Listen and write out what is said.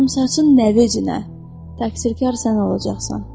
Qıvrımsaçın nəvinə, təqsirkar sən olacaqsan.